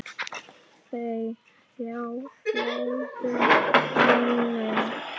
Búa hjá föður sínum?